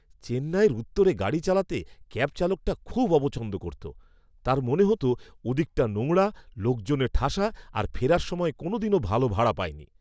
চেন্নাইয়ের উত্তরে গাড়ি চালাতে ক্যাব চালকটা খুব অপছন্দ করত। তার মনে হত ওদিকটা নোংরা, লোকজনে ঠাসা আর ফেরার সময় কোনোদিনও ভালো ভাড়া পায়নি।